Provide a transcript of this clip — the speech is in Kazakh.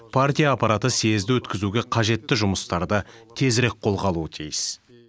партия аппараты съезді өткізуге қажетті жұмыстарды тезірек қолға алуы тиіс